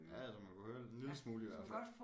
Ja så man kunne høre det en lille smule i hvert fald